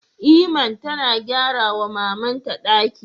Iman tana gyara wa maman ta ɗaki